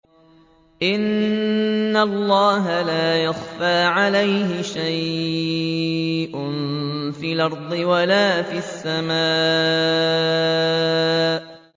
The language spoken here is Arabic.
إِنَّ اللَّهَ لَا يَخْفَىٰ عَلَيْهِ شَيْءٌ فِي الْأَرْضِ وَلَا فِي السَّمَاءِ